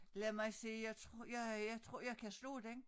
Lad mig se jeg tror jeg jeg tror jeg kan slå den